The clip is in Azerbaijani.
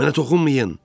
Mənə toxunmayın!